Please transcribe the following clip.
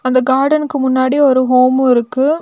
இந்த கார்டனுக்கு முன்னாடி ஒரு ஹோமு இருக்கு.